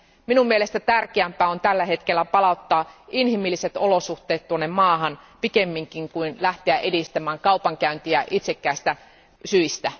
Minun mielestäni tärkeämpää on tällä hetkellä palauttaa inhimilliset olosuhteet maahan pikemminkin kuin lähteä edistämään kaupankäyntiä itsekkäistä syistä.